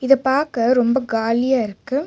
இது பாக்க ரொம்ப காலியா இருக்கு.